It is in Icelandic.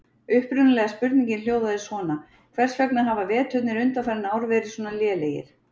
Upprunalega spurningin hljóðaði svona: Hvers vegna hafa veturnir undanfarin ár verið svona lélegir?